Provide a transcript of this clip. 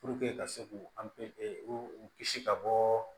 ka se k'u u kisi ka bɔ